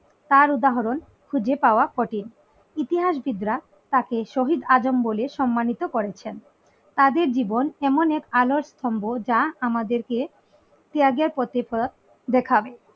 তার উধাহরন খুঁজে পাওয় কঠিন ইতিহাসবিদ রা তাকে শহীদ আজম বলে সম্মানিত করেছেন তাদের জীবন এমন এক আলোরছন্দ যা আমাদের কে ত্যাগের প্রতিপদ দেখান